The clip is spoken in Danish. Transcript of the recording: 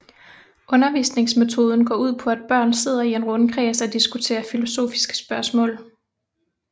Undervisningsmetoden går ud på at børn sidder i en rundkreds og diskuterer filosofiske spørgsmål